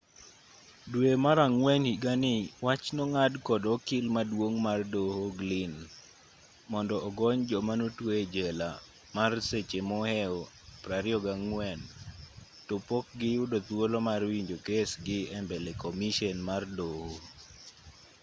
dwe mar ang'wen higani wach nong'ad kod okil maduong' mar doho glynn mondo ogony joma notwe ejela mar seche mohew 24 topok giyudo thuolo mar winjo kesgi embele komishen mar doho